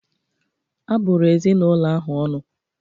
Abụrụ ezinụlọ ahụ ọnụ